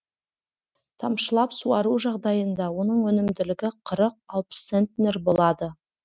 тамшылап суару жағдайында оның өнімділігі қырық алпыс центнер болады